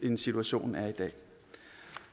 end situtionen er i dag